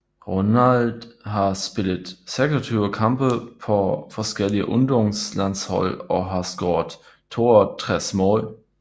Ronald har spillet 26 kampe på forskellige ungdomslandshold og har scoret 62 mål